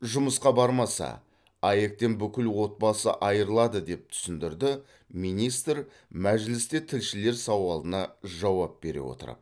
жұмысқа бармаса аәк тен бүкіл отбасы айырылады деп түсіндірді министр мәжілісте тілшілер сауалына жауап бере отырып